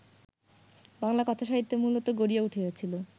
বাংলা কথাসাহিত্য মূলত গড়িয়া উঠিয়াছিল